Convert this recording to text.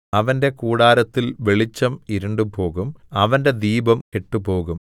അവന്റെ കൂടാരത്തിൽ വെളിച്ചം ഇരുണ്ടുപോകും അവന്റെ ദീപം കെട്ടുപോകും